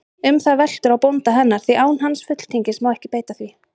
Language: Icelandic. Um það veltur á bónda hennar, því án hans fulltingis má ekki beita því.